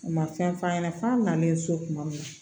U ma fɛn f'a ɲɛna f'a nanen so kuma min na